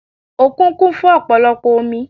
Òkun kún fún ọ̀pọ̀lọpọ̀ omi